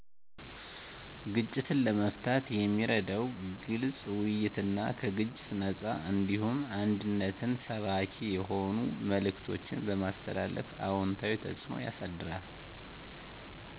ግጭትን ለመፍታት የሚረዳው ግልፅ ውይይትና ከግጭት ነፃ እንዲሁም አንድነትን ሰባኪ የሆኑ መልዕክቶችን በማስተላለፍ አዎንታዊ ተፅኖ ያሳድራል።